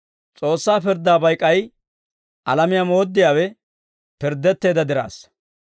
S'oossaa pirddaabay k'ay alamiyaa mooddiyaawe pirddetteedda diraassa.